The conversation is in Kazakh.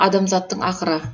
адамзаттың ақыры